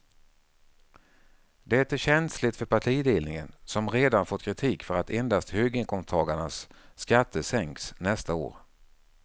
Det är känsligt för partiledningen som redan fått kritik för att endast höginkomsttagarnas skatter sänks nästa år.